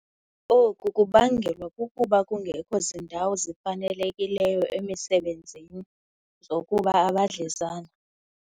Oku kubangelwa kukuba kungekho zindawo zifanelekileyo emisebenzini zokuba abadlezana